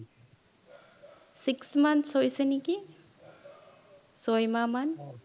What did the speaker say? six months হৈছে নিকি ছয় মাহ মান